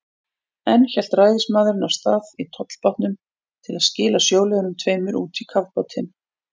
Enn hélt ræðismaðurinn af stað í tollbátnum til að skila sjóliðunum tveimur út í kafbátinn.